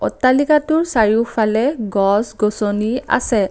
অট্টালিকাটোৰ চাৰিওফালে গছ গছনি আছে।